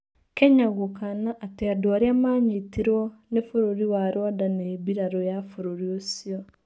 Kenya gũkana atĩ andũarĩa manyitirwo nĩ bũrũri wa Rwanda nĩ birarũya bũrũri ũcio